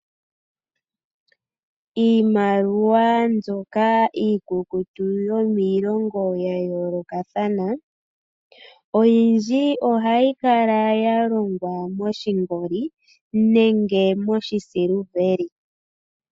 Iimaliwa mbyoka iikukutu yomiilongo yayoolokathana oyindji ohayi kala yalongwa moshingoli nenge moshisiliveli.